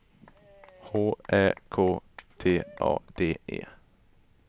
H Ä K T A D E